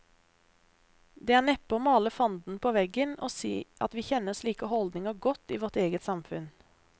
Det er neppe å male fanden på veggen å si at vi kjenner slike holdninger godt i vårt eget samfunn.